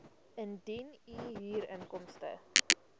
indien u huurinkomste